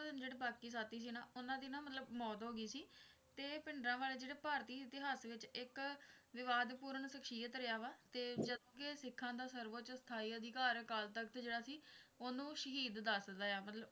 ਉਨ੍ਹਾਂ ਦੇ ਜਿਹੜੇ ਬਾਕੀ ਸਾਥੀ ਸੀ ਉਨ੍ਹਾਂ ਦੀ ਨਾ ਮਤਲਬ ਮੌਤ ਹੋ ਗਯੀ ਸੀ ਤੇ ਇਹ ਭਿੰਡਰਾਂਵਾਲੇ ਜਿਹੜੇ ਭਾਰਤੀ ਇਤਿਹਾਸ ਵਿੱਚ ਇੱਕ ਵਿਵਾਦਪੂਰਨ ਸਖਸ਼ੀਅਤ ਰਿਹਾ ਵਾ ਤੇ ਜਦ ਕਿ ਸਿੱਖਾਂ ਦਾ ਸਰਵੋੱਚ ਸਥਾਈ ਅਧਿਕਾਰ ਅਕਾਲ ਤਖਤ ਜਿਹੜਾ ਸੀ ਓਹਨੂੰ ਸ਼ਹੀਦ ਦੱਸਦਾ ਹੈ ਮਤਲਬ